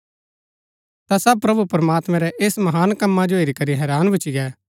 ता सब मणु प्रमात्मैं रै ऐस महान कम्मा जो हेरी करी हैरान भूच्ची गै